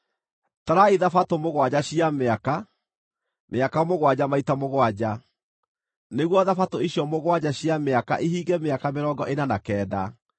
“ ‘Tarai Thabatũ mũgwanja cia mĩaka, mĩaka mũgwanja maita mũgwanja, nĩguo Thabatũ icio mũgwanja cia mĩaka ihinge mĩaka mĩrongo ĩna na kenda.